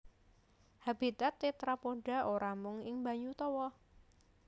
Habitat tetrapoda ora mung ing banyu tawa